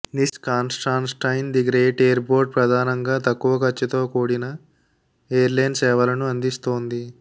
నిస్ Constantine the Great airport ప్రధానంగా తక్కువ ఖర్చుతో కూడిన ఎయిర్లైన్ సేవలను అందిస్తోంది